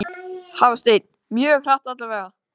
Hafsteinn: Mjög hratt allavega?